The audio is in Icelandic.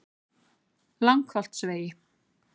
Langholtsvegi